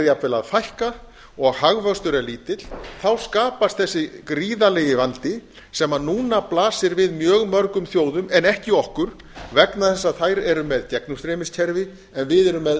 jafnvel að fækka og hagvöxtur er lítill þá skapast þessi gríðarlegi vandi sem núna blasir við mjög mörgum þjóðum en ekki okkur vegna þess að þær eru með gegnumstreymiskerfi en við erum með